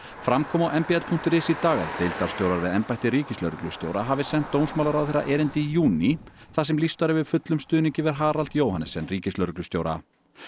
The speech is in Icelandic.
fram kom á m b l punktur is í dag að deildarstjórar við embætti ríkislögreglustjóra hafi sent dómsmálaráðherra erindi í júní þar sem lýst var yfir fullum stuðningi við Harald Johannessen ríkislögreglustjóra